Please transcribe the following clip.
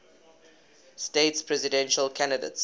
states presidential candidates